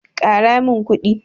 Ƙara min kuɗi.